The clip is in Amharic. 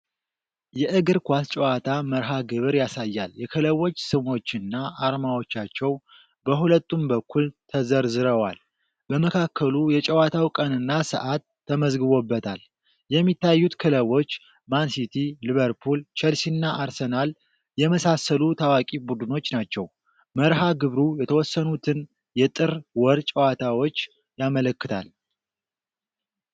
የእግር ኳስ ጨዋታ መርሃ ግብር ያሳያል። የክለቦች ስሞችና አርማዎቻቸው በሁለቱም በኩል ተዘርዝረዋል። በመካከሉ የጨዋታው ቀንና ሰዓት ተመዝግቦበታል። የሚታዩት ክለቦች ማን ሲቲ፣ ሊቨርፑል፣ ቸልሲና አርሰናል የመሳሰሉ ታዋቂ ቡድኖች ናቸው። መርሃ ግብሩ የተወሰኑትን የጥር ወር ጨዋታዎች ያመለክታል።